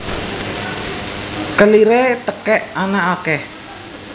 Keliré tekèk ana akèh